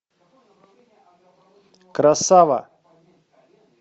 красава